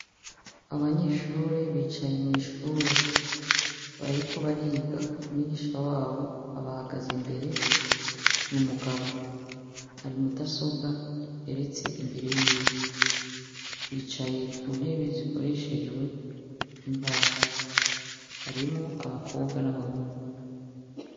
Abanyeshure bicaye mw’ishure. Bariko bariga umwigisha wabo abahagaze imbere n’umugabo. Hari imudasobwa iteretse imbere yiwe, bicaye mu ntebe zikoreshejwe imbaho, harimwo abakobwa n’abahungu.